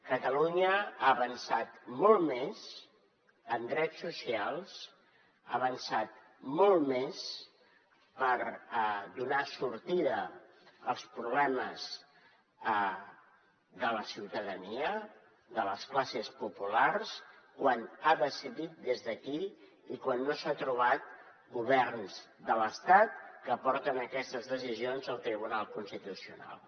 catalunya ha avançat molt més en drets socials ha avançat molt més per donar sortida als problemes de la ciutadania de les classes populars quan ha decidit des d’aquí i quan no s’ha trobat governs de l’estat que porten aquestes decisions al tribunal constitucional